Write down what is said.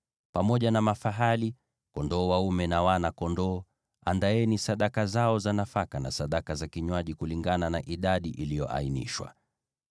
Pamoja na mafahali, kondoo dume na wana-kondoo, andaeni sadaka zao za nafaka na sadaka za kinywaji kulingana na idadi iliyoainishwa.